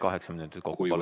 Kaheksa minutit, palun!